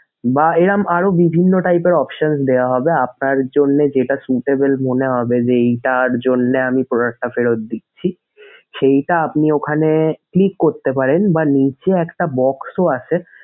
বা এরকম আরো বিভিন্ন type এর option দেওয়া হবে আপনার জন্যে যেটা suitable মনে হবে যে এইটার জন্যে আমি product টা ফেরত দিচ্ছি সেইটা আপনি ওখানে click করতে পারেন বা নিচে একটা box ও আছে।